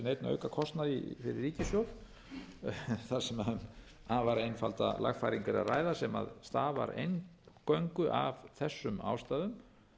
alls ekki séð að það muni hafa með sér neinn aukakostnað fyrir ríkissjóð þar sem um afar einfalda lagfæringu er að ræða sem stafar eingöngu af þessum ástæðum